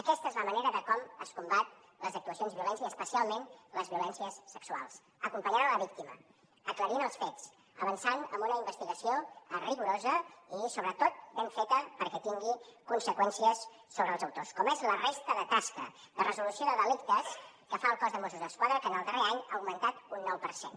aquesta és la manera com es combaten les actuacions de violència i especialment les violències sexuals acompanyant la víctima aclarint els fets avançant amb una investigació rigorosa i sobretot ben feta perquè tingui conseqüències sobre els autors com ho és la resta de tasques de resolució de delictes que fa el cos de mossos d’esquadra que en el darrer any ha augmentat un nou per cent